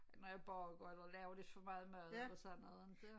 Når jeg bager eller laver lidt for meget mad eller sådan noget inte